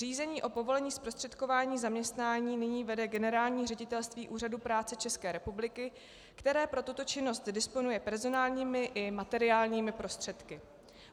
Řízení o povolení zprostředkování zaměstnání nyní vede Generální ředitelství Úřadu práce České republiky, které pro tuto činnost disponuje personálními i materiálními prostředky.